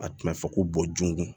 A tun bɛ fɔ ko bɔ jungun